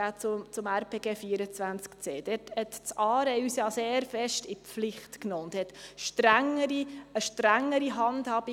Das ARE nahm uns ja sehr stark in die Pflicht und forderte von uns als Kanton eine strengere Handhabung.